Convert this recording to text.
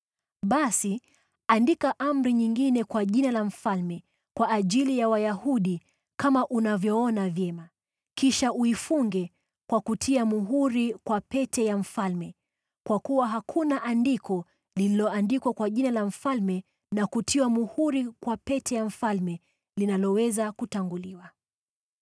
Basi andika amri nyingine kwa jina la mfalme kwa ajili ya Wayahudi kama unavyoona vyema, kisha uifunge kwa kutia muhuri kwa pete ya mfalme kwa kuwa hakuna andiko lililoandikwa kwa jina la mfalme na kutiwa muhuri kwa pete ya mfalme linaloweza kutanguliwa.”